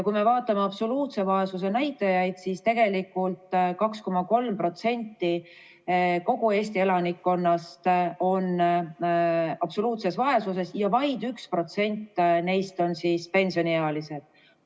Kui me vaatame absoluutse vaesuse näitajaid, siis tegelikult 2,3% kogu Eesti elanikkonnast on absoluutses vaesuses ja vaid 1% neist on pensioniealised.